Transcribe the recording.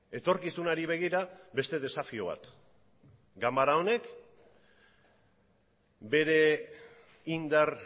etorkizunari begira beste desafio bat ganbara honek bere indar